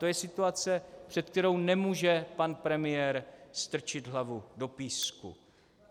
To je situace, před kterou nemůže pan premiér strčit hlavu do písku.